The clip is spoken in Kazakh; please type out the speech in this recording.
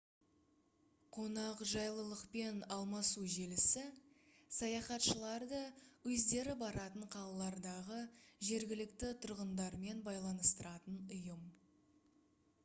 қонақжайлылықпен алмасу желісі саяхатшыларды өздері баратын қалалардағы жергілікті тұрғындармен байланыстыратын ұйым